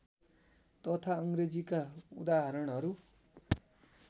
तथा अङ्ग्रेजीका उदाहरणहरू